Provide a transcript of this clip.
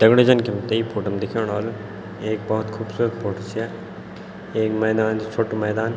दगडियों जन की हमते ये फोटो मा देखणु वालू एक बहौत खुबसूरत फोटो च या एक मैदान च छोटू मैदान।